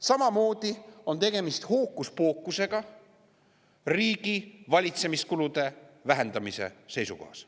Samamoodi on tegemist hookuspookusega riigivalitsemiskulude vähendamise seisukohast.